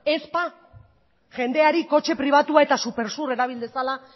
ez ba jendeari kotxe pribatua eta supersur erabil dezala